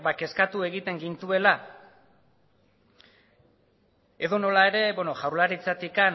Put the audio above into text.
kezkatu egiten gintuela edonola ere beno jaurlaritzatik